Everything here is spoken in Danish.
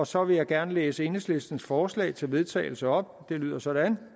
så vil jeg gerne læse enhedslistens forslag til vedtagelse op det lyder sådan